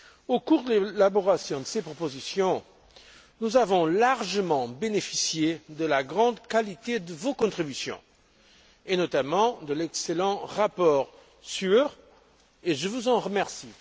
Au cours de l'élaboration de ces propositions, nous avons largement bénéficié de la grande qualité de vos contributions, et notamment de l'excellent rapport SURE, ce dont je vous remercie.